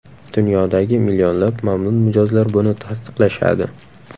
Dunyodagi millionlab mamnun mijozlar buni tasdiqlashadi.